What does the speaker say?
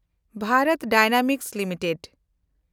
ᱵᱷᱮᱱᱰᱚᱛ dynamics limited